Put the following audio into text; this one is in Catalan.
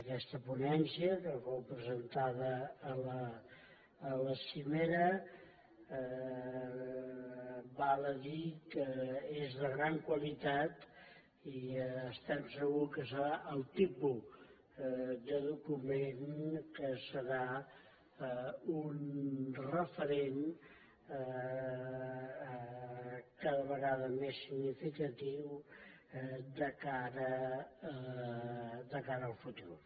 aquesta ponència que fou presentada a la cimera val a dir que és de gran qualitat i estem segurs que serà el tipus de document que serà un referent cada vegada més significatiu de cara al futur